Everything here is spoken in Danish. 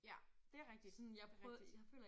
Ja det rigtigt det rigtigt